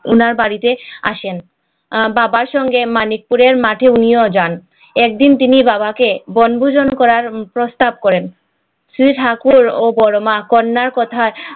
উনার বাড়িতে আসেন বাবার সঙ্গে মানিকপুরের মাঠে উনিও যান একদিন তিনি বাবাকে বনভোজন করার প্রস্তাব করেন সে ঠাকুর ও বড়মা কন্যার কথা